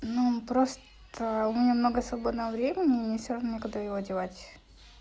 ну просто у меня много свободного времени и всё равно не куда его девать